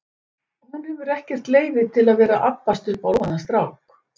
Hún hefur ekkert leyfi til að vera að abbast upp á lofaðan strák.